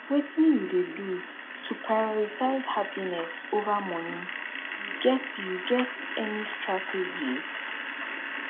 wetin you dey do to prioritize happiness over money you get you get any strategies